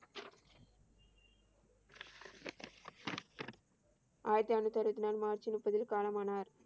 ஆயிரத்தி அறுநூத்தி அருவத்தி நாலு மார்ச் முப்பதில் காலமானார்.